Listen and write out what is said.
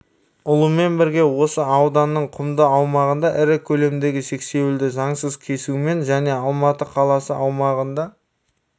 ұлымен бірге осы ауданның құмды аумағында ірі көлемдегі сексеуілді заңсыз кесумен және алматы қаласы аумағында